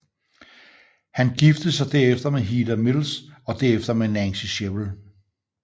Han giftede sig derefter med Heather Mills og derefter med Nancy Shevell